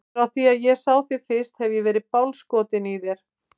Frá því að ég sá þig fyrst hef ég verið bálskotinn í þér.